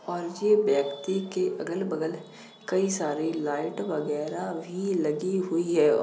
और ये व्यक्ति के अगल-बगल कई सारी लाइट वगैरह भी लगी हुई है और --